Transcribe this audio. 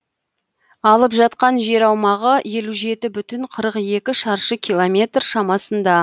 алып жатқан жер аумағы елу жеті бүтін қырық екі шаршы километр шамасында